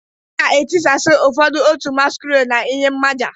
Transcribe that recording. A ga-etisasị ụfọdụ otu masquerade n'ihi mmaja